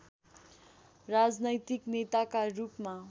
राजनैतिक नेताका रूपमा